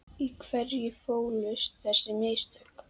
Í hverju fólust þessi mistök?